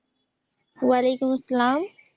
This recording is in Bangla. অলাইকুমস্লাম